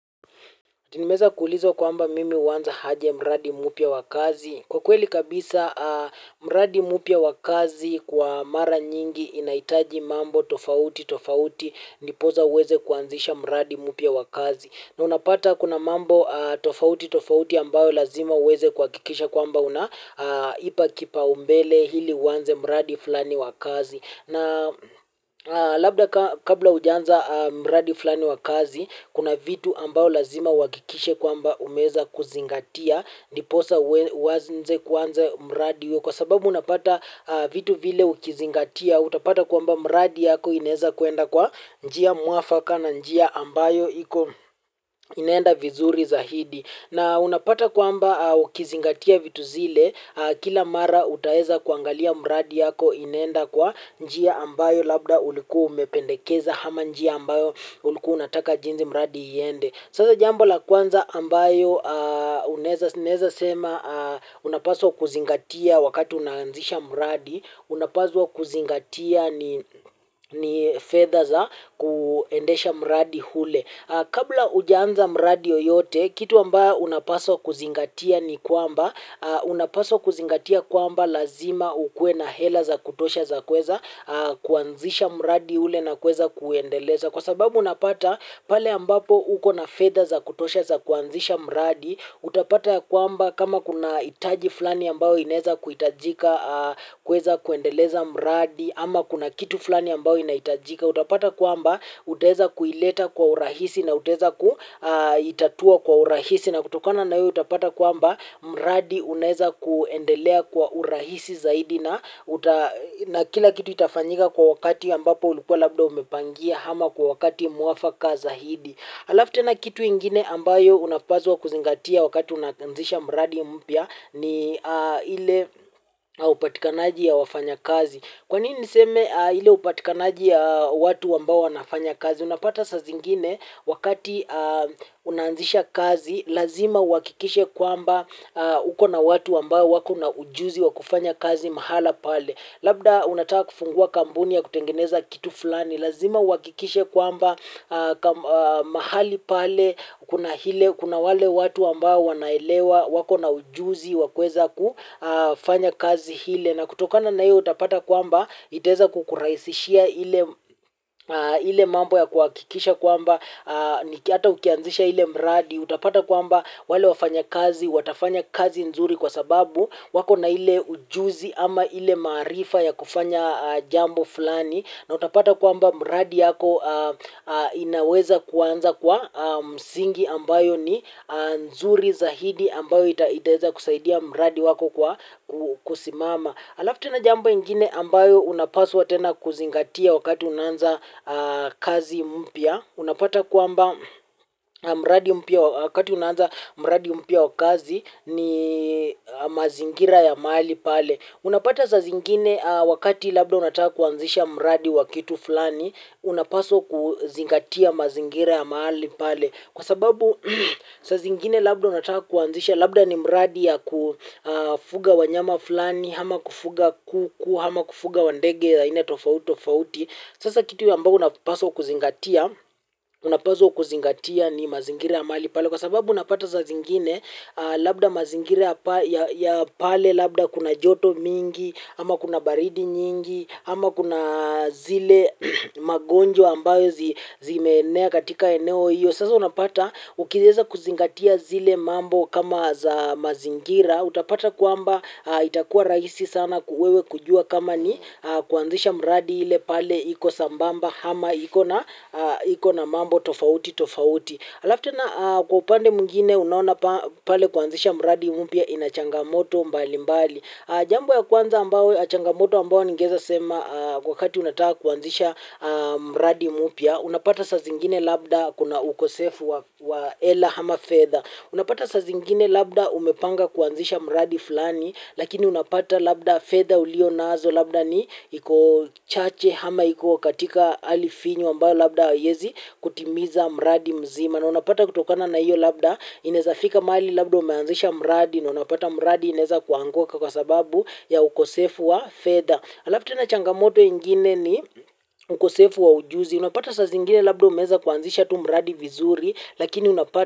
Tinimeza kuulizo kwamba mimi uwanza haje mradi mupia wakazi. Kwa kweli kabisa, mradi mupia wakazi kwa mara nyingi inaitaji mambo tofauti tofauti nipoza uweze kuanzisha mradi mupia wakazi. Na unapata kuna mambo tofauti tofauti ambayo lazima uweze kwa kikisha kwamba unaipa kipaumbele hili uwanze mradi flani wakazi. Na labda kabla ujanza mradi flani wakazi, kuna vitu ambao lazima uwakikishe kwamba umeza kuzingatia, niposa uazinze kuanza mradi kwa sababu unapata vitu vile ukizingatia, utapata kwamba mradi yako ineza kuenda kwa njia muafaka na njia ambayo inenda vizuri zahidi. Na unapata kwamba ukizingatia vitu zile kila mara utaeza kuangalia mradi yako inenda kwa njia ambayo labda ulikua umependekeza hama njia ambayo ulikua unataka jinzi mradi yende. Sasa jambo la kwanza ambayo uneza sema unapaswa kuzingatia wakati unaanzisha mradi unapaswa kuzingatia ni fedha za kuendesha mradi hule. Kabla ujaanza mradi yoyote, kitu amba unapaswa kuzingatia ni kwamba, unapaswa kuzingatia kwamba lazima ukuwe na hela za kutosha za kweza kuanzisha mradi ule na kweza kuendeleza. Kwa sababu unapata pale ambapo uko na fedha za kutosha za kuanzisha mradi, utapata ya kwamba kama kuna itaji flani ambao ineza kuitajika kweza kuendeleza mradi, ama kuna kitu flani ambao inaitajika. Utapata kuamba uteza kuileta kwa urahisi na uteza kuitatua kwa urahisi. Na kutokana na hiyo utapata kuamba mradi uneza kuendelea kwa urahisi zaidi. Na kila kitu itafanyika kwa wakati ambapo ulikuwa labda umepangia hama kwa wakati muwafaka zaidi. Alaftena kitu ingine ambayo unapazwa kuzingatia wakati unakanzisha mradi mpia. Ni ile upatikanaji ya wafanya kazi. Kwanini niseme hile upatikanaji ya watu wambao wanafanya kazi? Unapata sa zingine wakati unanzisha kazi, lazima wakikishe kwamba uko na watu wambao wako na ujuzi wakufanya kazi mahala pale. Labda unataka kufungua kambuni ya kutengeneza kitu fulani, lazima uwakikishe kwamba mahali pale, kuna hile, kuna wale watu ambao wanaelewa, wako na ujuzi, wakweza kufanya kazi hile. Na kutokana na iyo utapata kwamba iteza kukuraisishia ile mambo ya kwakikisha kwamba ata ukianzisha ile mradi utapata kwamba wale wafanya kazi, watafanya kazi nzuri kwa sababu wako na ile ujuzi ama ile maarifa ya kufanya jambo fulani. Na utapata kwamba mradi yako inaweza kuanza kwa msingi ambayo ni nzuri zahidi ambayo iteza kusaidia mradi wako kwa kusimama. Alaftena jambo ingine ambayo unapaswa tena kuzingatia wakati unanza kazi mpia. Unapata kuamba mradi mpia wakati unanza mradi mpia wakazi ni mazingira ya maali pale. Unapata sa zingine wakati labda unataka kuanzisha mradi wakitu fulani, unapaswa kuzingatia mazingira ya maali pale. Kwa sababu sa zingine labda unataka kuanzisha, labda ni mradi ya kufuga wanyama fulani, hama kufuga kuku, hama kufuga wandege, haina tofauti, tofauti. Sasa kitu yambao unapaswa kuzingatia, unapaswa kuzingatia ni mazingira ya mali pale. Kwa sababu unapata sa zingine, labda mazingira ya pale, labda kuna joto mingi, ama kuna baridi nyingi, ama kuna zile magonjwa ambayo zimeenea katika eneo hiyo. Kwa sasa unapata, ukieza kuzingatia zile mambo kama za mazingira, utapata kuamba itakuwa raisi sana kuwewe kujua kama ni kuanzisha mradi ile pale iko sambamba hama iko na mambo tofauti tofauti. Alaftena kwa upande mwingine unaoana pale kuanzisha mradi mpya inachangamoto mbali mbali. Jambo ya kwanza ambao, achangamoto ambao ningeza sema kwa kati unataka kuanzisha mradi mupia, unapata sa zingine labda kuna ukosefu wa ela hama fedha. Unapata sa zingine labda umepanga kuanzisha mradi fulani, lakini unapata labda fedha ulio nazo labda ni iko chache hama iko katika alifinyo ambao labda yezi kutimiza mradi mzima. Na unapata kutokana na iyo labda, ineza fika mali labda umeanzisha mradi na unapata mradi ineza kuanguka kwa sababu ya ukosefu wa fedha. Alaf tena changamoto ingine ni ukosefu wa ujuzi. Unapata sa zingine labda umeza kuanzisha tu mradi vizuri, lakini unapata.